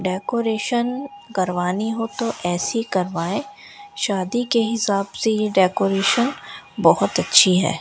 Decoration करवानी हो तो ऐसी करवाये शादी के हिसाब से ये डेकोरेशन बहोत अच्छी है।